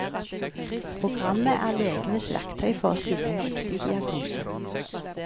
Programmet er legenes verktøy for å stille en riktig diagnose.